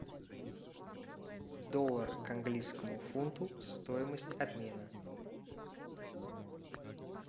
доллар к английскому фунту стоимость обмена